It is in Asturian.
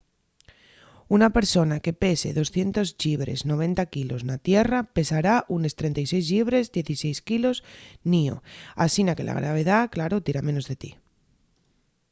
una persona que pese 200 llibres 90 k na tierra pesará unes 36 llibres 16 k n'ío. asina que la gravedá claro tira menos de ti